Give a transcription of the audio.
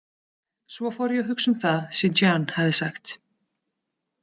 Svo fór ég að hugsa um það sem Jeanne hafði sagt.